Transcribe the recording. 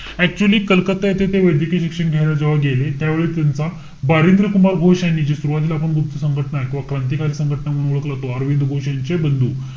Actually Calcutta येथे ते वैद्यकीय शिक्षण घ्यायला जेव्हा गेले. त्यावेळी त्यांचा बारिंद्र कुमार घोष यांनी, जे सुरवातीला आपण गुप्त संघटना किंवा क्रांतिकारी संघटना म्हणून ओळखल, अरविंद घोष यांचे बंधू,